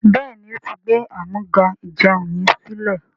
béèni,o tí gbé Amúga-ìjẹun yén silẹ.